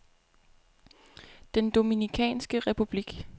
Den Dominikanske Republik